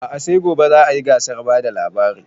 A'a sai gobe za a yi gasar bada labari